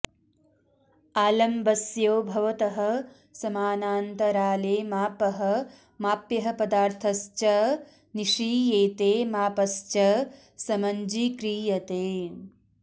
आलम्बस्योभवतः समानान्तराले मापः माप्यः पदार्थस्च निषीयेते मापस्च समञ्जीक्रियते